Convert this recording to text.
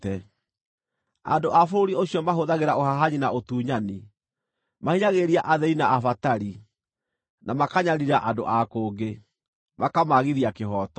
Andũ a bũrũri ũcio mahũthagĩra ũhahanyi na ũtunyani; mahinyagĩrĩria athĩĩni na abatari, na makanyariira andũ a kũngĩ, makamaagithia kĩhooto.